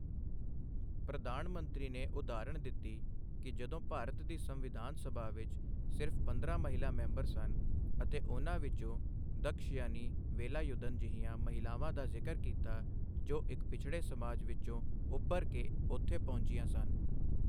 ਪ੍ਰਧਾਨ ਮੰਤਰੀ ਨੇ ਉਦਾਹਰਣ ਦਿੱਤੀ ਕਿ ਜਦੋਂ ਭਾਰਤ ਦੀ ਸੰਵਿਧਾਨ ਸਭਾ ਵਿੱਚ ਸਿਰਫ਼ ਪੰਦਰਾਂ ਮਹਿਲਾ ਮੈਂਬਰ ਸਨ ਅਤੇ ਉਨ੍ਹਾਂ ਵਿੱਚੋਂ ਦਕਸ਼ਯਾਨੀ ਵੇਲਾਯੁਧਨ ਜਿਹੀਆਂ ਮਹਿਲਾਵਾਂ ਦਾ ਜ਼ਿਕਰ ਕੀਤਾ ਜੋ ਇੱਕ ਪਿਛੜੇ ਸਮਾਜ ਵਿੱਚੋਂ ਉਭਰ ਕੇ ਉੱਥੇ ਪਹੁੰਚੀਆਂ ਸਨ।